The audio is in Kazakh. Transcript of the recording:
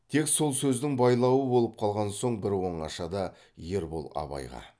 тек сол сөздің байлауы болып қалған соң бір оңашада ербол абайға